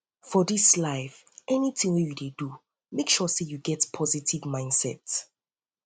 for dis life anytin wey yu dey do mek sure sey yu get positive get positive mindset